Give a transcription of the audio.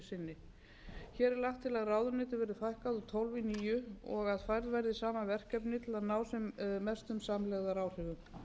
sinni hér er lagt til að ráðuneytum verði fækkað úr tólf í níu og að færð verði saman verkefni til að ná sem mestum samlegðaráhrifum